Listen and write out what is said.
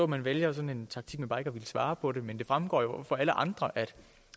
man vælger sådan en taktik med bare ikke at ville svare på det men det fremgår jo for alle andre at